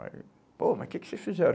Aí pô, mas o que que vocês fizeram?